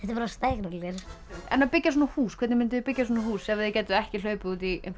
bara stækkunargler en að byggja svona hús hvernig munduð þið byggja svona hús ef þið gætuð ekki hlaupið út í